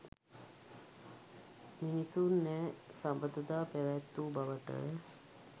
මිනිසුන් නෑ සබඳතා පැවැත්වූ බවට